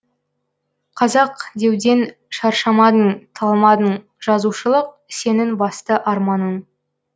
қазақ деуден шаршамадың талмадың жазушылық сенің басты арманың